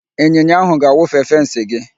Ịnyịnya ahụ ga-awụfe fensị gị.